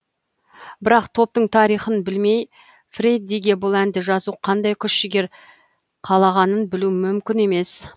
бірақ топтың тарихын білмей фреддиге бұл әнді жазу қандай күш жігер қалағанын білу мүмкін емес